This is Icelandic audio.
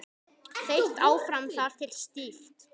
Þeytt áfram þar til stíft.